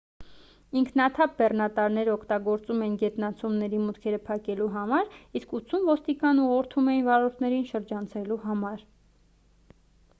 ինքնաթափ բեռնատարները օգտագործում էին գետնանցումների մուտքերը փակելու համար իսկ 80 ոստիկան ուղղորդում էին վարորդներին շրջանցելու համար